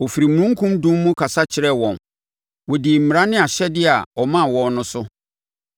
Ɔfiri omununkum dum mu kasa kyerɛɛ wɔn; wɔdii mmara ne ahyɛdeɛ a ɔmaa wɔn no so.